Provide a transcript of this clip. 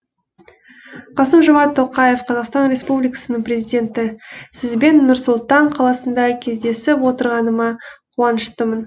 қасым жомарт тоқаев қазақстан республикасының президенті сізбен нұр сұлтан қаласында кездесіп отырғаныма қуаныштымын